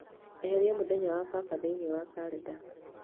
eherie mũthenya wa baba thĩinĩ wa kalenda